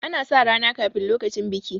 ana sa rana kafin lokacin biki